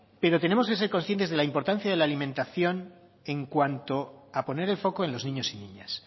pero tenemos que ser conscientes de la importancia de la alimentación en cuanto a poner el foco en los niños y niñas